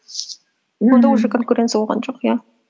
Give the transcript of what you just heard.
онда уже конкуренция болған жоқ иә